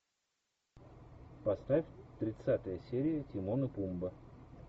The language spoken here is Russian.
поставь тридцатая серия тимон и пумба